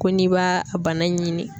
Ko n'i b'a a bana in ɲini.